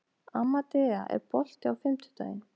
Amadea, er bolti á fimmtudaginn?